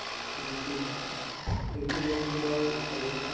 যোনটো যদি পোৱা আৰু